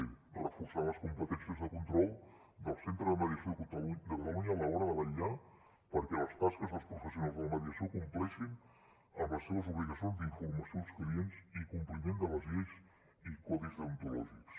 d reforçar les competències de control del centre de mediació de catalunya a l’hora de vetllar perquè les tasques dels professionals de la mediació compleixin amb les seves obligacions d’informació als clients i compliment de les lleis i codis deontològics